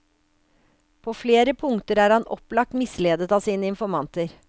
På flere punkter er han opplagt misledet av sine informanter.